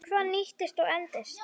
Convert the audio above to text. Hvað nýtist og endist?